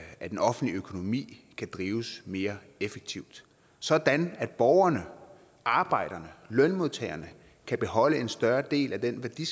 at den offentlige økonomi kan drives mere effektivt sådan at borgerne arbejderne lønmodtagerne kan beholde en større del af den værdi